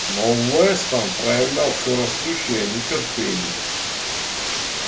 но вестон проявлял всё растущее нетерпение